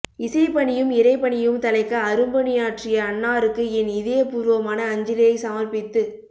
இசைபணியும் இறைபணியும் தழைக்க அரும்பணியாற்றிய அன்னாருக்கு என் இதயபூர்வமான அஞ்சலியை சமர்ப்பித்துக்